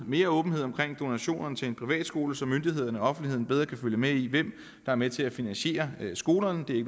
mere åbenhed om donationerne til privatskoler så myndighederne og offentligheden bedre kan følge med i hvem der er med til at finansiere skolerne det er